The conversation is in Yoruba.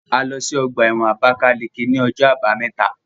A lọ sí ọgbà ẹ̀wọ̀n Abákáleke ní ọjọ́ àbámẹ́ta